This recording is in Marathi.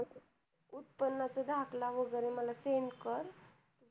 उत्त्पन्न च दाखल वैगेरे मला send कर